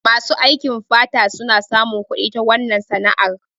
Masu aikin fata suna samun kudi ta wannan sana'ar